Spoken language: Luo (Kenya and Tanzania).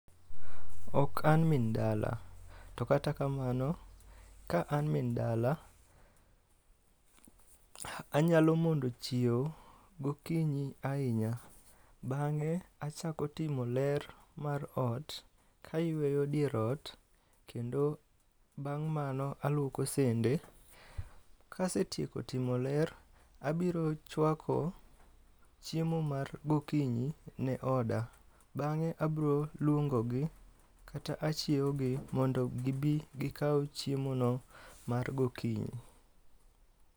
Ok an min dala, to kata kamano ka an min dala, anyalo mondo chiewo gokinyi ahinya. Bang'e, achako timo ler mar ot kayweyo dier ot kendo bang' mano alwoko sende. Kasetieko timo ler, abirochwako chiemo mar gokinyi ne oda. Bang'e abro luongo gi kata achiewo gi mondo gibi gikaw chiemo no mar gokinyi.